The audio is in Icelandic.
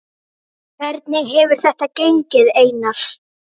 Hvernig hefur þetta gengið Einar?